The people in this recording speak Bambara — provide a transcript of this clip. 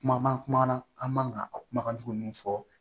Kuma man kumana an man ka a kumakan duman minnu fɔ